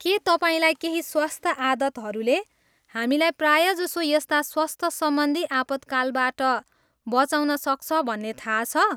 के तपाईँलाई केही स्वस्थ आदतहरूले हामीलाई प्रायजसो यस्ता स्वस्थ सम्बन्धी आपतकालबाट बँचाउन सक्छ भन्ने थाहा छ?